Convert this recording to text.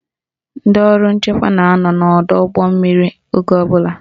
Ndị ọrụ nchekwa na-anọ n'ọdọụgbọmmiri oge ọbụla